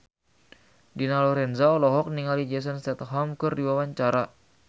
Dina Lorenza olohok ningali Jason Statham keur diwawancara